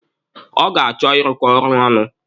Ọ ga-achọ ịrụkọ ọrụ ọnụ.